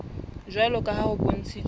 jwalo ka ha ho bontshitswe